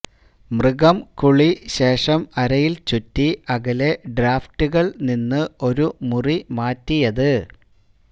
മൃഗം കുളി ശേഷം അരയിൽ ചുറ്റി അകലെ ഡ്രാഫ്റ്റുകൾ നിന്ന് ഒരു മുറി മാറ്റിയത്